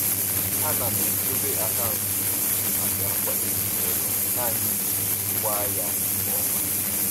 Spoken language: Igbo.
Ana m edobe akaụntụ dị iche maka nkwado ezinụlọ nani iji jikwaa ya nke ọma.